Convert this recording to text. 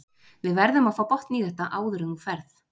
Við verðum að fá botn í þetta áður en þú ferð.